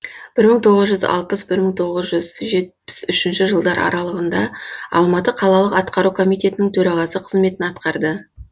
бір мың тоғыз жүз алпыс бір мың тоғыз жүз жетпіс үшінші жылдар аралығында алматы қалалық атқару комитетінің төрағасы қызметін атқарды